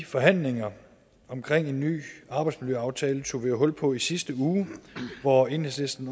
forhandlingerne omkring en ny arbejdsmiljøaftale tog vi jo hul på i sidste uge hvor enhedslisten